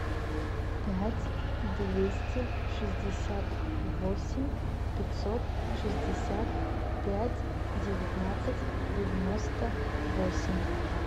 пять двести шестьдесят восемь пятьсот шестьдесят пять девятнадцать девяносто восемь